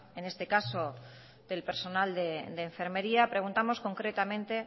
en este caso del personal de enfermería preguntamos concretamente